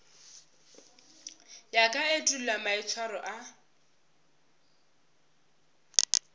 ya ka etulo maitshwaro a